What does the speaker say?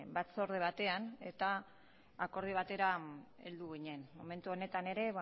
batzorde batean eta akordio batera heldu ginen momentu honetan ere